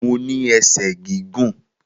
Mo ní ẹsẹ̀ gígùn